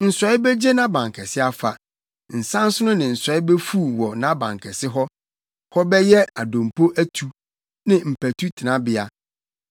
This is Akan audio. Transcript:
Nsɔe begye nʼabankɛse afa, nsansono ne nsɔe befuw wɔ nʼabankɛse hɔ. Hɔ bɛyɛ adompo atu, ne mpatu tenabea.